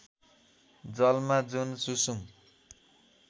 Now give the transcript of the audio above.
जलमा जुन सुसुम